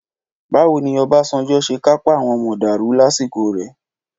Báwo ni Ọbásanjọ́ ṣe kápá àwọn mọ̀dàrú lásìkò rẹ̀?